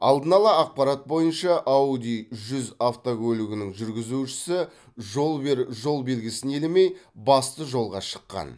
алдын ала ақпарат бойынша ауди жүз автокөлігінің жүргізушісі жол бер жол белгісін елемей басты жолға шыққан